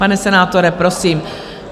Pane senátore, prosím.